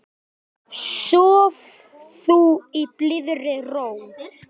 Sof þú í blíðri ró.